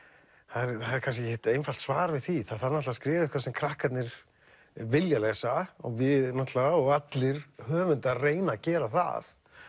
er kannski ekkert einfalt svar við því það þarf að skrifa eitthvað sem krakkarnir vilja lesa og við náttúrulega og allir höfundar reyna að gera það